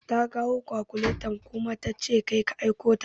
Ta kawo kakuleta ta kuma ce kai ka aiko ta.